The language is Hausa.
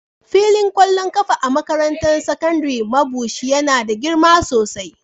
Filin kwallon kafa a makarantar sakandaren Mabushi yana da girma sosai.